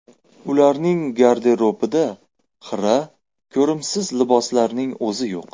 Ularning garderobida xira, ko‘rimsiz liboslarning o‘zi yo‘q.